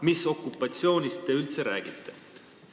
Mis okupatsioonist te üldse räägite?